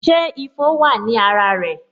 Ṣé ifo wa ní ara rẹ